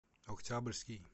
октябрьский